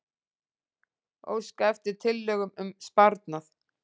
Óska eftir tillögum um sparnað